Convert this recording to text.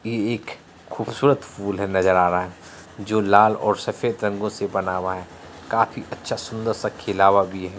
ये एक खूबसूरत फूल है नजर आ रहा है जो लाल ओर सफेद रंगों से बना हुआ है काफी अछा सुंदर सा खिला हुआ भी है।